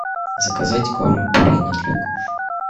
заказать корм пурина для кошек